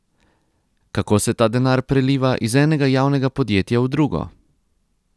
Kako se ta denar preliva iz enega javnega podjetja v drugo?